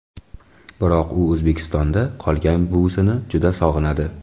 Biroq u O‘zbekistonda qolgan buvisini juda sog‘inadi.